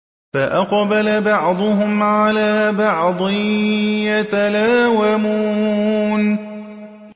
فَأَقْبَلَ بَعْضُهُمْ عَلَىٰ بَعْضٍ يَتَلَاوَمُونَ